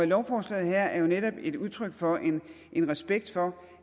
lovforslaget her er jo netop et udtryk for en respekt for